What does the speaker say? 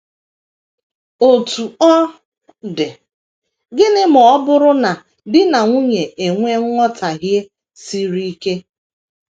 Otú ọ dị, gịnị ma ọ bụrụ na di na nwunye enwee nghọtahie siri ike?